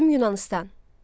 Qədim Yunanıstan.